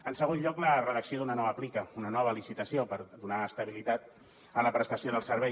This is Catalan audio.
en segon lloc la redacció d’una nova plica una nova licitació per donar estabilitat a la prestació del servei